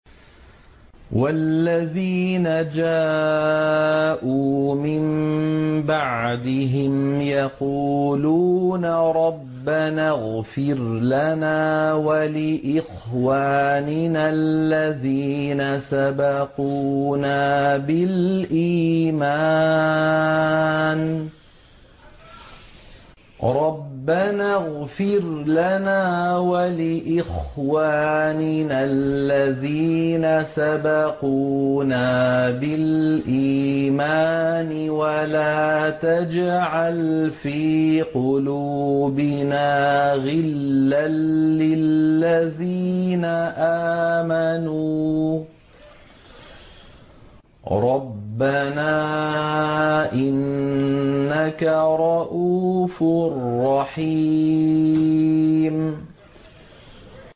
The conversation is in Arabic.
وَالَّذِينَ جَاءُوا مِن بَعْدِهِمْ يَقُولُونَ رَبَّنَا اغْفِرْ لَنَا وَلِإِخْوَانِنَا الَّذِينَ سَبَقُونَا بِالْإِيمَانِ وَلَا تَجْعَلْ فِي قُلُوبِنَا غِلًّا لِّلَّذِينَ آمَنُوا رَبَّنَا إِنَّكَ رَءُوفٌ رَّحِيمٌ